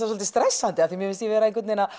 svolítið stressandi því mér finnst ég vera að